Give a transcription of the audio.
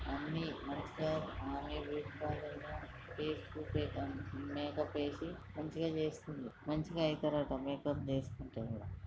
ఆమె మంచిగా మేరేజ్ చేసుకొని ఇంకా ఫేస్ మేకప్ వేసి మంచిగా చేసుకొని మంచిగా ఐతరట మేకప్ చేసుకుంటే.